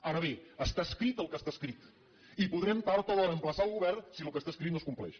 ara bé està escrit el que està escrit i podrem tard o d’hora emplaçar el govern si el que està escrit no es compleix